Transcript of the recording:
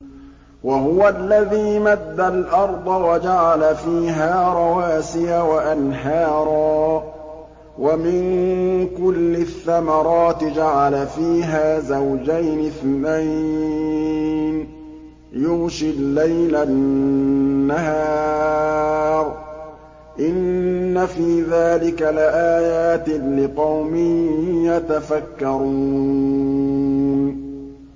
وَهُوَ الَّذِي مَدَّ الْأَرْضَ وَجَعَلَ فِيهَا رَوَاسِيَ وَأَنْهَارًا ۖ وَمِن كُلِّ الثَّمَرَاتِ جَعَلَ فِيهَا زَوْجَيْنِ اثْنَيْنِ ۖ يُغْشِي اللَّيْلَ النَّهَارَ ۚ إِنَّ فِي ذَٰلِكَ لَآيَاتٍ لِّقَوْمٍ يَتَفَكَّرُونَ